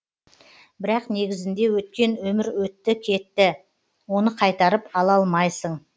бірақ негізінде өткен өмір өтті кетті оны қайтарып ала алмайсың